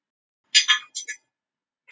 Vinsælasta leikritið var Skugga